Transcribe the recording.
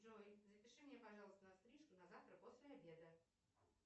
джой запиши меня пожалуйста на стрижку на завтра после обеда